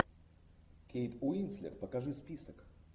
кейт уинслет покажи список